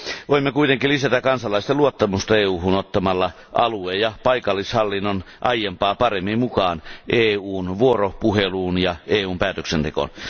Voimme kuitenkin lisätä kansalaisten luottamusta EUhun ottamalla alue ja paikallishallinnon aiempaa paremmin mukaan EUn vuoropuheluun ja EUn päätöksentekoon.